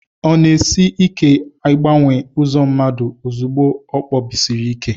ọ na-esi ike ịgbanwe ụzọ mmadụ ozugbo o kpebisiri ike